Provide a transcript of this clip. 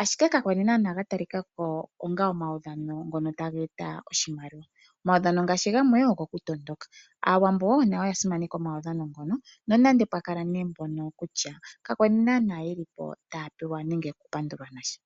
ashike ka kwali naanawa ga talikako onga omaudhano ngono tage eta oshimaliwa, omaudhano ngaashi gamwe ogo kutondoka, aawambo nayo oya simaneka omaudhano ngono nonande pwa kala nee mpono kutya ka kwali naanawa yelipo taya pewa nenge oku pandulwa nasha